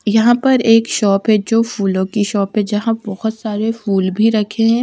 यहां पर एक शॉप है जो फूलों की शॉप है जहां बहोत सारे फूल भी रखे हैं।